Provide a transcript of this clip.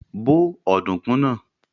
Bó ọ̀dùnkún náà!